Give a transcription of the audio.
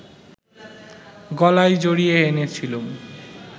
গলায় জড়িয়ে এনেছিলুম